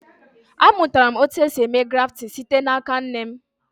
A mụtara m otu esi eme grafting site n'aka nne m